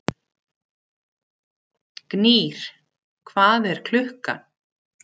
Gnýr, hvað er klukkan?